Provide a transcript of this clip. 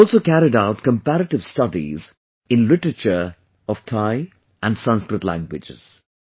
They have also carried out comparative studies in literature of Thai and Sanskrit languages